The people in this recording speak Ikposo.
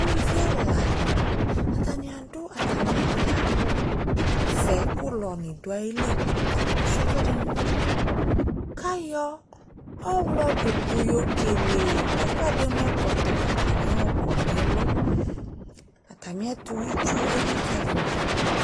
Uluvi ɛla dɩnɩ, atanɩ adʋ atamɩ alɩ yɛ ayʋ awʋvɛ kʋ ʋlɔnɩ dʋ ayili Asʋɩa ɛkʋɛdɩnɩ nʋ ɔmɔ kʋ ayɔ ɔɣlɔdʋkʋ yɔkele ɛkʋɛdɩ mʋ ɛkɔtɔ kʋ atanɩ ayɔkɔ nʋ ɛlʋ Atamɩɛtʋ elikali ma dʋ